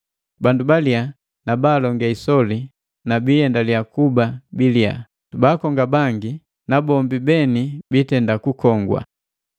Bandu biliya na baalonge isoli na biiendaliya kuba biliya, baakonga bangi na bombi beni biitenda kukongwa.